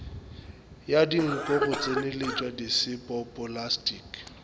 ya dinko go tsenyeletšwa diseptpoplasti